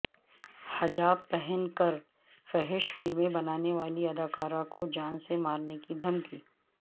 حجاب پہن کر فحش فلمیں بنانے والی ادکارہ کو جان سے مارنے کی دھمکی